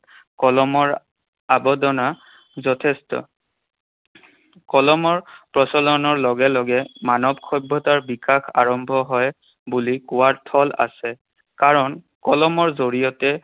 কলমৰ যথেষ্ঠ। কলমৰ প্ৰচলনৰ লগে লগে মানৱ সভ্যতাৰ বিকাশ আৰম্ভ হয় বুলি কোৱাৰ থল আছে। কাৰণ কলমৰ জৰিয়তে